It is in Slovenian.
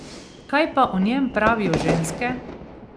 Kaj pa o njem pravijo ženske?